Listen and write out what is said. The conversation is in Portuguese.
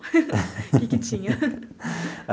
O que que tinha?